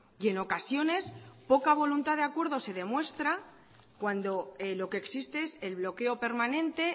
y en ocasiones poca voluntad de acuerdo se demuestra cuando lo que existe es el bloqueo permanente